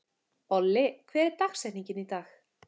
Olli, hver er dagsetningin í dag?